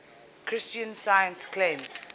christian science claims